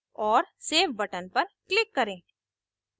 और save button पर click करें